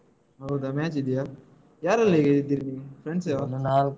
ಹೌದಾ match ಇದ್ಯಾ, ಯಾ~ ಯಾರೆಲ್ಲಾ ಈಗ ಇದ್ದೀರಿ ನೀವು friends ಏವಾ ಎಲ್ಲ.